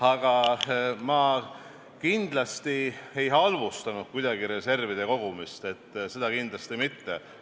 Aga ma ei halvustanud kuidagi reservide kogumist, seda kindlasti mitte.